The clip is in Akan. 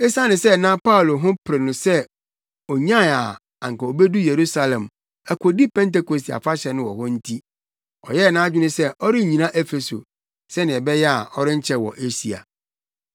Esiane sɛ na Paulo ho pere no sɛ onyae a anka obedu Yerusalem akodi Pentekoste Afahyɛ no wɔ hɔ no nti, ɔyɛɛ nʼadwene sɛ ɔrennyina Efeso, sɛnea ɛbɛyɛ a ɔrenkyɛ wɔ Asia.